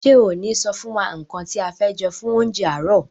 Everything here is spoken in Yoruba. Ṣe o ni sọ fún wa nkán ti a fẹ jẹ fún oúnjẹ aarọ?